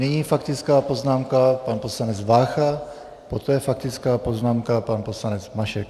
Nyní faktická poznámka pan poslanec Vácha, poté faktická poznámka pan poslanec Mašek.